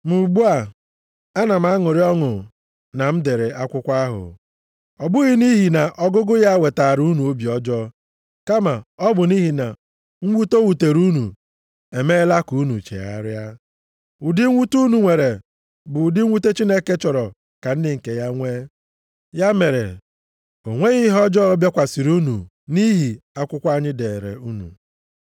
Ma ugbu a ana m aṅụrị ọṅụ na m dere akwụkwọ ahụ. Ọ bụghị nʼihi na ọgụgụ ya wetaara unu obi ọjọọ, kama ọ bụ nʼihi na mwute o wutere unu emeela ka unu chegharịa. Ụdị mwute unu nwere bụ ụdị mwute Chineke chọrọ ka ndị nke ya nwee. Ya mere, o nweghị ihe ọjọọ bịakwasịrị unu nʼihi akwụkwọ anyị deere unu.